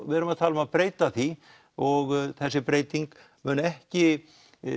við erum að tala um að breyta því og þessi breyting mun ekki